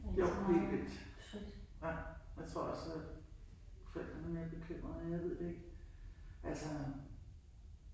Jo helt helt vildt. Nej jeg tror også at forældre er meget bekymrede ej jeg ved det ikke altså